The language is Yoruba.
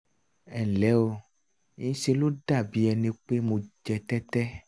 ẹ nlẹ́ o ńṣe ló dàbí ẹni pé mo jẹ tẹ́tẹ́